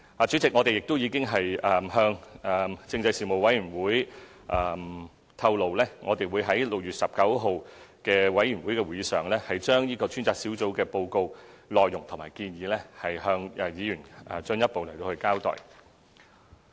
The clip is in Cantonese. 主席，我們已向政制事務委員會透露，我們會在6月19日的事務委員會會議上，把專責小組的報告內容和建議，向議員進一步交代。